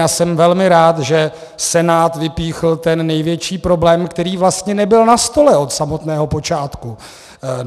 Já jsem velmi rád, že Senát vypíchl ten největší problém, který vlastně nebyl na stole od samotného počátku.